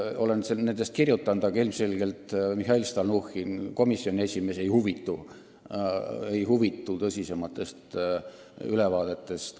Olen nendest kirjutanud, aga ilmselgelt Mihhail Stalnuhhin, komisjoni esimees, ei huvitu tõsisematest ülevaadetest.